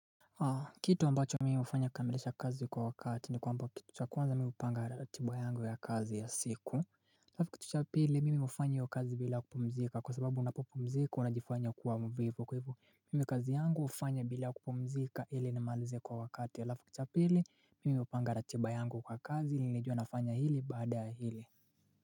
Kitu ambacho mimi hufanya kukamilisha kazi kwa wakati ni kwamba kitu cha kwanza mimi hupanga ratiba yangu ya kazi ya siku halafu kitu cha pili mimi hufanya hiyo kazi bila kupumzika kwa sababu unapopomzika unajifanya kuwa mvivu kwa hivyo mimi kazi yangu hufanya bila kupumzika ili nimalize kwa wakati alafu cha pili mimi hupanga ratiba yangu kwa kazi ili nijue nafanya hili baada ya hili.